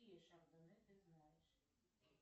какие шардоне ты знаешь